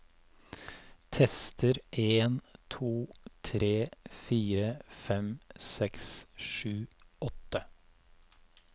Tester en to tre fire fem seks sju åtte